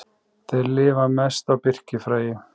Þeir lifa mest á birkifræi.